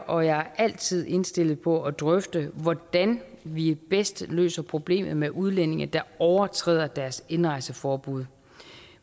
og jeg er altid indstillet på at drøfte hvordan vi bedst løser problemet med udlændinge der overtræder deres indrejseforbud